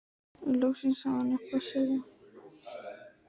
En loksins hafði hann eitthvað að segja.